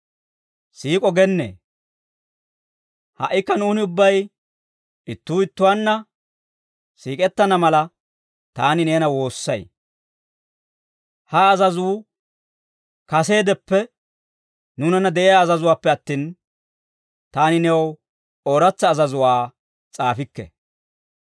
Siik'o gennee, ha"ikka nuuni ubbay ittuu ittuwaanna siik'ettana mala, taani neena woossay; ha azazuu kaseedeppe nuunanna de'iyaa azazuwaappe attin, taani new ooratsa azazuwaa s'aafikke.